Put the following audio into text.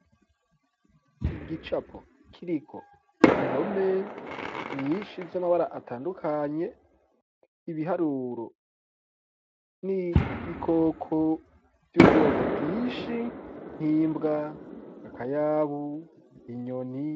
Igicapo kiriko ndome nyishi z'amabara atandukanye, ibiharuro n'ibikoko vy'ubwoko bwinshi nk'imbwa ,akayabu ,inyoni .